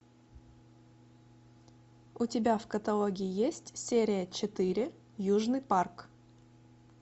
у тебя в каталоге есть серия четыре южный парк